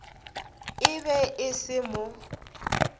e be e se mo